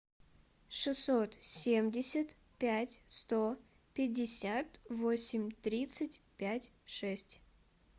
шестьсот семьдесят пять сто пятьдесят восемь тридцать пять шесть